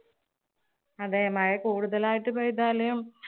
അതെ മഴ കൂടുതലായിട്ട് പെയ്താലും